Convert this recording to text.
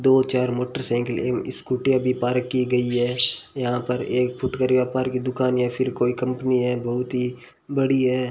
दो चार मोटरसाइकिल स्कूटियां भी पार्क की गई है यहां पर एक फुटकर व्यापार की दुकान या फिर कोई कंपनी है बहुत ही बड़ी है।